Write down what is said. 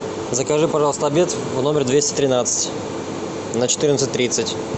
закажи пожалуйста обед в номер двести тринадцать на четырнадцать тридцать